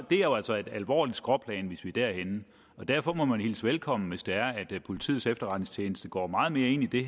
det er jo altså et alvorligt skråplan hvis vi er derhenne derfor må man hilse det velkommen hvis det er politiets efterretningstjeneste går meget mere ind i